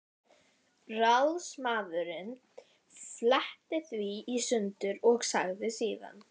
Ráðsmaðurinn fletti því í sundur og sagði síðan